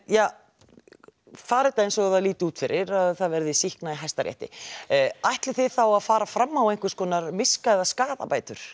já fari þetta eins og það lítur út fyrir að það verði sýknað í Hæstarétti ætlið þið þá að fara fram á einhverjar miska eða skaðabætur